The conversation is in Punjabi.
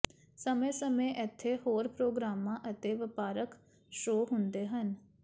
ਸਮੇਂ ਸਮੇਂ ਇੱਥੇ ਹੋਰ ਪ੍ਰੋਗਰਾਮਾਂ ਅਤੇ ਵਪਾਰਕ ਸ਼ੋਅ ਹੁੰਦੇ ਹਨ